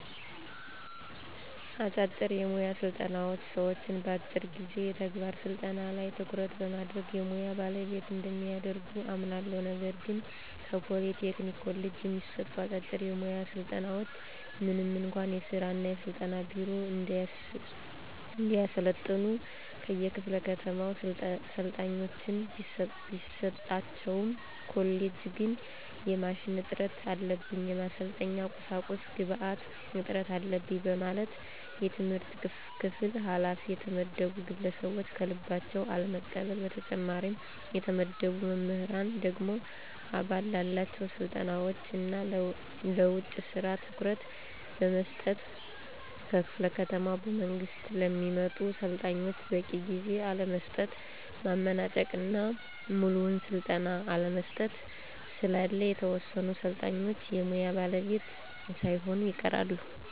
አጫጭር የሙያ ስልጠናዎች ሰዎችን በአጭር ጊዜ የተግባር ስልጠና ላይ ትኩረት በማድረግ የሙያ ባለቤት እንደሚያደርጉ አምናለሁ። ነገር ግን ከፖሊ ቴክኒክ ኮሌጅ የሚሰጡ አጫጭር የሙያ ስልጠናዎች ምንም እንኳ የሥራ እና ስልጠና ቢሮ እንዲያሰለጥኑ ከየክፋለ ከተማው ሰልጣኞችን ቢሰጣቸውም ኮሌጁ ግን የማሽን እጥረት አለብኝ፣ የማሰልጠኛ ቁሳቁስ ግብአት እጥረት አለበኝ በማለት የትምህርት ክፍል ኋላፊ የተመደቡ ግለሰቦች ከልባቸው አለመቀበል። በተጨማሪም የተመደበው መምህር ደግሞ አበል ላላቸው ስልጠናዎች እና ለውጭ ስራ ትኩረት በመስጠት ከክፍለ ከተማ በመንግስት ለሚመጡ ሰልጣኞች በቂ ጊዜ አለመስጠት፣ ማመናጨቅ እና ሙሉውን ስልጠና አለመስጠት ስላለ የተወሰኑ ሰልጣኞች የሙያ ባለቤት ሳይሆኑ ይቀራሉ።